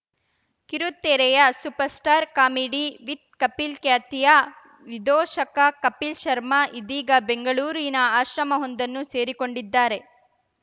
ಕಿರುತೆರೆಯ superstar comedy with Kapil ಖ್ಯಾತಿಯ ವಿದೂಷಕ ಕಪಿಲ್‌ ಶರ್ಮಾ ಇದೀಗ ಬೆಂಗಳೂರಿನ ಆಶ್ರಮವೊಂದನ್ನು ಸೇರಿಕೊಂಡಿದ್ದಾರೆ